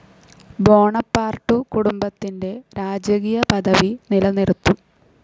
Bonaparte കുടുംബത്തിന്റെ രാജകീയ പദവി നിലനിർത്തും.